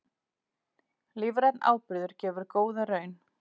Lífrænn áburður gefur góða raun